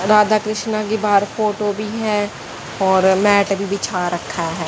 राधा कृष्ण की बाहर फोटो भी है और मैट भी बिछा रखा है।